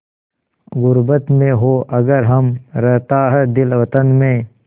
ग़ुर्बत में हों अगर हम रहता है दिल वतन में